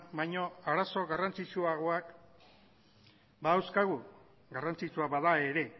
baino arazo garrantzitsuagoak badauzkagu garrantzitsua bada ere